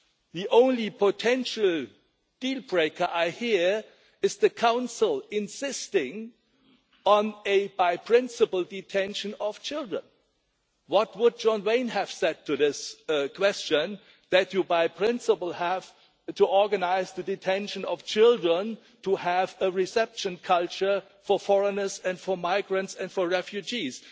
The only potential deal breaker I hear is the Council insisting on a by principle detention of children. What would John Wayne have said to this question that you by principle have to organise the detention of children, to have a reception culture for foreigners and for migrants and for refugees?